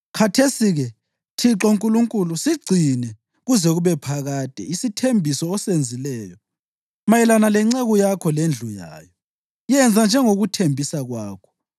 Khathesi-ke, Thixo Nkulunkulu, sigcine kuze kube phakade isithembiso osenzileyo mayelana lenceku yakho lendlu yayo. Yenza njengokuthembisa kwakho,